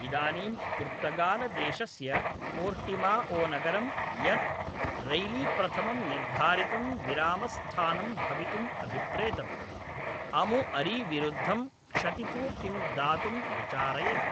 इदानीं पुर्तगालदेशस्य पोर्टिमाओनगरं, यत् रैलीप्रथमं निर्धारितं विरामस्थानं भवितुम् अभिप्रेतम्, अमुअरीविरुद्धं क्षतिपूर्तिं दातुं विचारयति